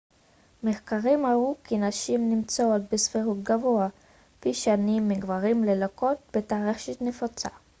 מחקרים הראו כי נשים נמצאות בסבירות גבוהה פי שניים מגברים ללקות בטרשת נפוצה